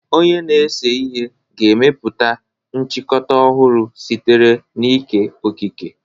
Onye na-ese ihe ga-emepụta nchịkọta ọhụrụ sitere n'ike okike.